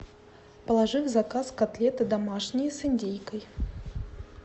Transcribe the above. положи в заказ котлеты домашние с индейкой